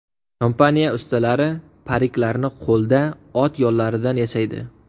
Kompaniya ustalari pariklarni qo‘lda, ot yollaridan yasaydi.